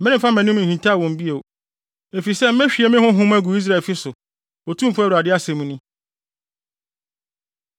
Meremfa mʼanim nhintaw wɔn bio, efisɛ mehwie me Honhom agu Israelfi so, Otumfo Awurade asɛm ni.”